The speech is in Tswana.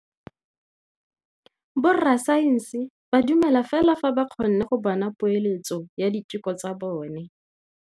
Borra saense ba dumela fela fa ba kgonne go bona poeletsô ya diteko tsa bone.